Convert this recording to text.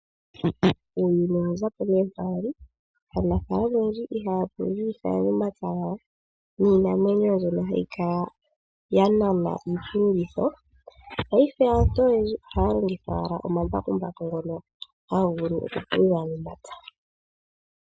Uuyuni owa zapo ne mpoka wali, naantu oyendji ihaya pululitha omapya gawo niinamwenyo mbyoka hayi kala tayi nana iipululitho, paife aantu oyendji ohaya longitha wala omambakumbaku ngono haga vulu oku pulula momapya.